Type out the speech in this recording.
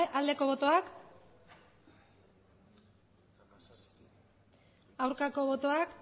aldeko botoak aurkako botoak